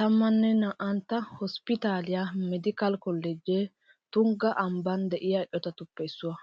12 hosppitaaliya meediikaale kolloojjee tungga ambban de'iya eqotatuppe issuwa.